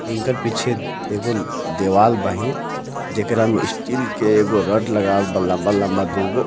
इनकर पीछे एगो देवाल बाहीन जेकर में स्टील के एगो रॉड लगावल बा लंबा लंबा दू गो.